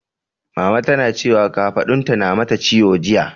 Mama tana cewa kafaɗunta na mata ciwo jiya.